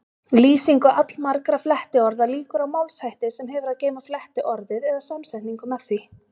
Lýsingu allmargra flettiorða lýkur á málshætti sem hefur að geyma flettiorðið eða samsetningu með því.